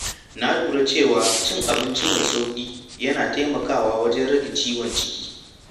Na lura cewa cin abinci mai sauƙi yana taimakawa wajen rage ciwon ciki.